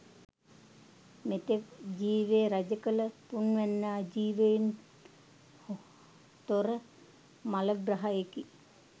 මෙතෙක් ජීවය රජකළ තුන්වැන්නා ජීවයෙන් තොර මළග්‍රහයෙකි.